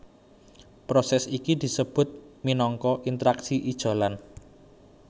Prosès iki disebut minangka interaksi ijolan